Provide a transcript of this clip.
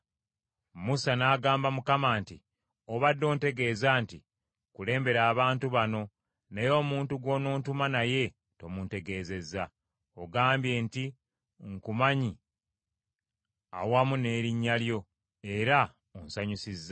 Musa n’agamba Mukama nti, “Obadde ontegeeza nti, ‘Kulembera abantu bano,’ naye omuntu gw’onontuma naye tomuntegeezezza. Ogambye nti, ‘Nkumanyi awamu n’erinnya lyo, era onsanyusizza.’